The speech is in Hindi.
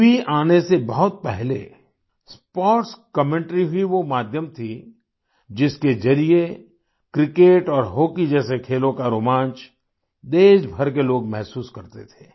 टीवी आने से बहुत पहले स्पोर्ट्स कमेंटरी ही वो माध्यम थी जिसके जरिए क्रिकेट और हॉकी जैसे खेलों का रोमांच देशभर के लोग महसूस करते थे